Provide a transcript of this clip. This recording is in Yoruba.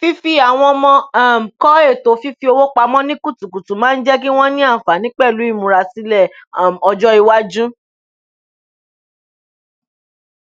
fífi àwọn ọmọ um kọ ètò fífowó pamọ ní kutukutu máa ń jẹ kí wọn ní àǹfààní pẹlú ìmúrasílẹ um ọjọ iwájú